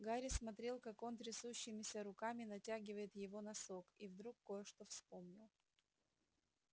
гарри смотрел как он трясущимися руками натягивает его носок и вдруг кое-что вспомнил